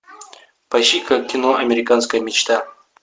поищи ка кино американская мечта